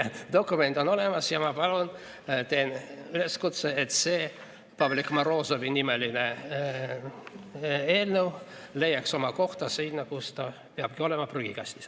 Dokument on olemas ja ma palun, teen üleskutse, et see Pavlik Morozovi nimeline eelnõu leiaks oma koha seal, kus ta peabki olema: prügikastis.